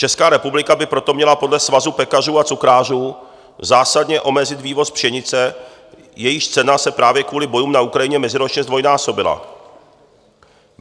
Česká republika by proto měla podle Svazu pekařů a cukrářů zásadně omezit vývoz pšenice, jejíž cena se právě kvůli bojům na Ukrajině meziročně zdvojnásobila.